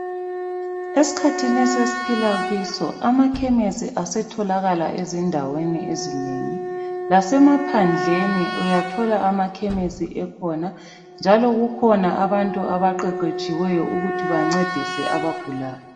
Esikhathini esesiphila kiso, amakhemisi asetholakala endaweni ezinengi, lasemaphandleni uyathola amakhemisi ekhona njalo kukhona abantu abaqeqetshiweyo ukuthi bancedise abagulayo.